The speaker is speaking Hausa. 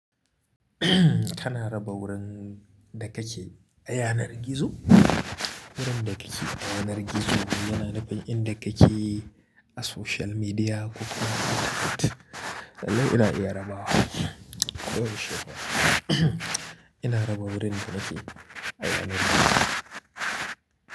Tana raba wurin dakake ayanar gizo. Wurin dakake ayanar gizo yana nufin in dakake a social media ko kuma a Twitter. Lallai ina iya rabawa. Ina raba wurin danake ayanar gizo.